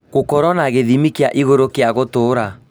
Gũkorwo na gĩthimi kĩa igũrũ gĩa gũtũra